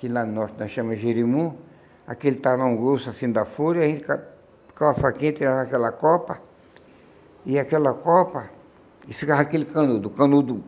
que lá no norte nós chama Jerimum, aquele tarão grosso, assim, da fúria, e a gente com uma faquinha, tirava aquela copa, e aquela copa, e ficava aquele canudo, canudo